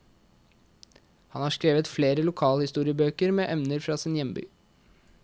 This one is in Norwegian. Han har skrevet flere lokalhistoriebøker med emner fra sin hjemby.